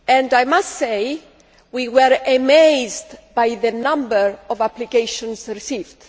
I must say we were amazed by the number of applications received.